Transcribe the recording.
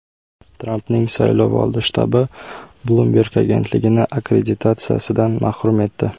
Trampning saylovoldi shtabi Bloomberg agentligini akkreditatsiyadan mahrum etdi.